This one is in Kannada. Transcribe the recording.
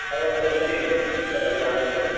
ಅವರವರ ಹಾಗೆ.